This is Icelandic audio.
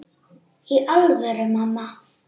Í alvöru, mamma.